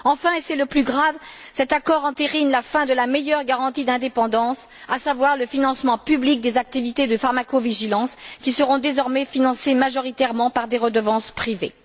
Enfin, et c'est le plus grave, cet accord entérine la fin de la meilleure garantie d'indépendance, à savoir le financement public des activités de pharmacovigilance, qui seront désormais financées majoritairement par des redevances privées.